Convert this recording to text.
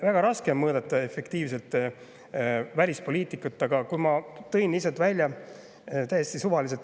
Väga raske on mõõta efektiivsust välispoliitikas, aga ma tõin lihtsalt täiesti suvaliselt välja.